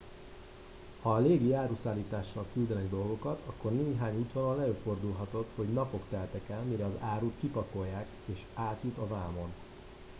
ha légi áruszállítással küldenek dolgokat akkor néhány útvonalon előfordulhatott hogy napok teltek el mire az árut kipakolják és átjut a vámon